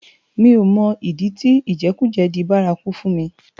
Mi ó mò idi ti ijèkújè di bàrákú fún mi